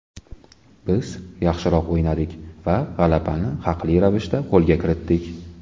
Biz yaxshiroq o‘ynadik va g‘alabani haqli ravishda qo‘lga kiritdik.